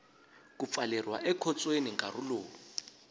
ku pfaleriwa ekhotsweni nkarhi lowu